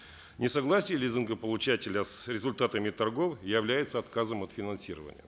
несогласие лизингополучателя с результатами торгов является отказом от финансирования